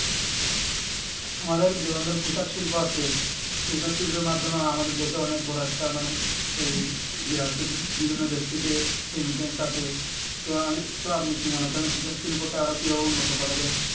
আমাদের গ্রামের পোশাক শিল্প আছে পোশাক শিল্পের মাধ্যমে আমাদের দেশের অনেক বড়ো একটা মানে এই বিভিন্ন দেশ থেকে তো তো আপনি কি মনে করেন পোশাক শিল্প কে আরো কি ভাবে উন্নত করা যাই